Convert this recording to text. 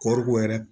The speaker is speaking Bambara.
Kɔɔriko yɛrɛ